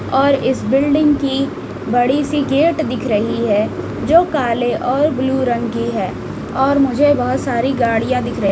और इस बिल्डिंग की बड़ी सी गेट दिख रही है जो काले और ब्लू रंग की है और मुझे बहुत सारी गाड़ियां दिख रही--